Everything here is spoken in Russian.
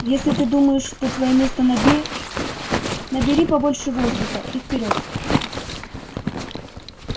если ты думаешь что твоё место на дне набери побольше воздуха и вперёд